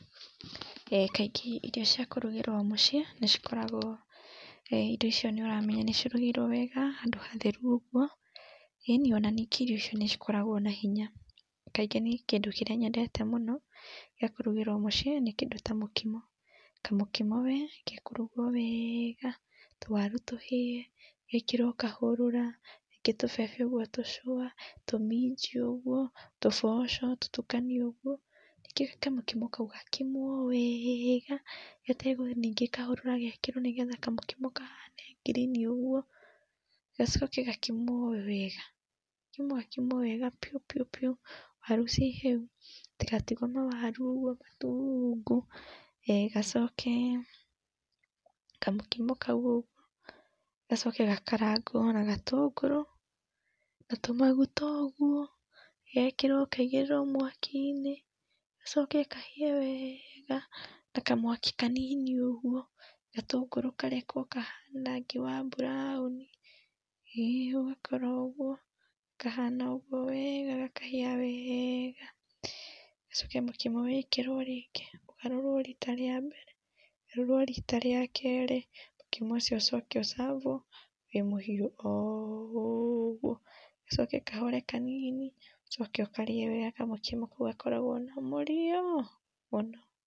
Kaĩngĩ irio cia kũrũgĩrwo mũcĩĩ nĩcikoragwo irio icio nĩuramenya nĩcirugirwo wega handũ hatheru ũguo, ĩni, nĩngĩ ona irio icio nĩcikoragwo na hinya kaĩngĩ niĩ kĩndũ kĩrĩa nyendete mũno gĩa kũrũgĩrwo mũciĩ nĩ kĩndũ ta mũkimo. Kamũkimo we ge kũrugwo wega tũwaru tũhĩe gekĩrwo kahũrũra nĩngĩ tũbebe ũguo tũcũa, tũminji ũguo tũboco tũtukanio ũguo ningĩ kamũkimo kau gakimwo wega gategwa ningĩ kahũrũra nĩgetha kamũkimo kahane ngirini ũguo, gacoke gakimwo wega gakimwo gakimwo wega biũ biũ biũ waru ci hĩu gatigatigwo na waru ũguo matungu, gacoke kamũkimo kau ũguo gacoke gakarangwo na gatũngũrũ na tũmagũta ũgũo, gekĩrwo kaigĩrirwo mwaki-inĩ gacoke kahĩe wega na kamwaki kanini ũgũo gatũngũrũ karekwo kahane rangi wa brown ũgakora ũguo kahana ũguo wega gakahia wega. Gacoke mũkimo wĩkĩrwo rĩngĩ ũgarũrwo ũgarũrwo rita ria mbere ũgarũrwo rita ria kerĩ mũkimo ũcio ũcoke ũ serve wo wĩ muhiu oũguo gacoke kahore kanini ucoke ũkarĩe wega kamũkimo kau gakoragwo na mũrĩo mũno.